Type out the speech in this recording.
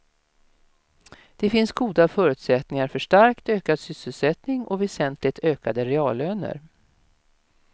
Det finns goda förutsättningar för starkt ökad sysselsättning och väsentligt ökade reallöner.